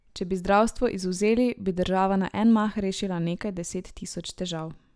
Če bi zdravstvo izvzeli, bi država na en mah rešila nekaj deset tisoč težav.